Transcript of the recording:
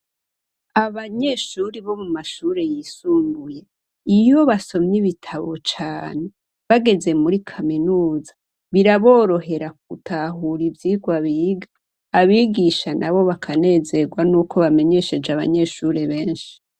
Abanyeshure bo mu mashure yisumbuye, iyo basomye ititabo cane, bageze muri kaminuza, biraborohera gutahura ivyigwa biga; abigisha nabo bakanezerwa n'uko bamenyesheje abanyeshure benshi.